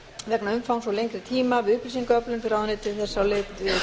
vegna umfangs og lengri tíma við upplýsingaöflun fer ráðuneytið þess á leit